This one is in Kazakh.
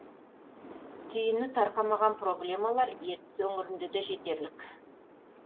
түйіні тарқамаған проблемалар ертіс өңірінде де жетерлік